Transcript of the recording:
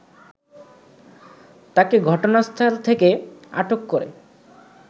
তাকে ঘটনাস্থল থেকে আটক করে